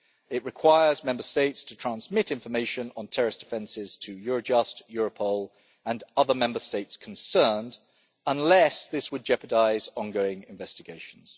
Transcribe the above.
It requires Member States to transmit information on terrorist offences to Eurojust, Europol and other Member States concerned, unless this would jeopardise ongoing investigations.